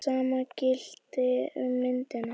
Það sama gilti um myndina.